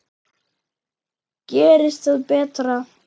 Gerist það betra.